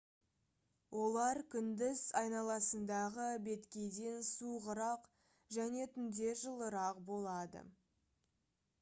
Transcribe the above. олар күндіз айналасындағы беткейден суығырақ және түнде жылырақ болады